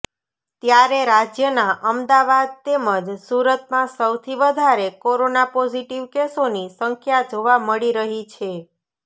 ત્યારે રાજ્યના અમદાવાદ તેમજ સુરતમાં સૌથી વધારે કોરોના પોઝિટિવ કેસોની સંખ્યા જોવા મળી રહી છે